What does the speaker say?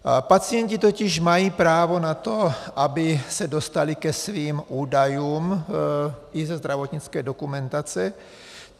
Pacienti totiž mají právo na to, aby se dostali ke svým údajům i ze zdravotnické dokumentace.